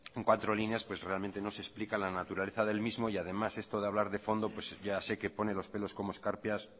en cuatro líneas no se explica la naturaleza del mismo y además esto de hablar fondo ya sé que pone los pelos como escarpias